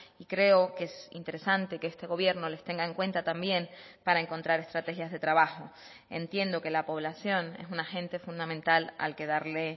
y creo que es interesante que este gobierno les tenga en cuenta también para encontrar estrategias de trabajo entiendo que la población es un agente fundamental al que darle